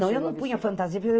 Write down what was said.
Não, eu não punha fantasias.